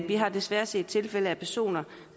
vi har desværre set tilfælde med personer